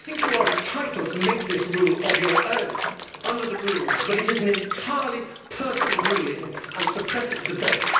I think you are entitled to make this rule of your own accord under the Rules of Procedure, but it is an entirely personal ruling and it suppresses debate.